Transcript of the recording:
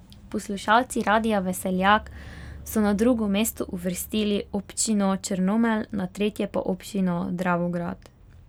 Poslušalci Radia Veseljak so na drugo mesto uvrstili občino Črnomelj, na tretje pa občino Dravograd.